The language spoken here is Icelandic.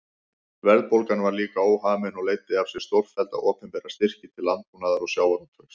Verðbólgan var líka óhamin og leiddi af sér stórfellda opinbera styrki til landbúnaðar og sjávarútvegs.